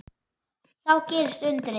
Þá gerðist undrið.